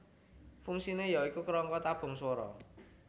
Fungsine ya iku kerangka tabung swara